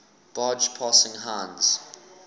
barge passing heinz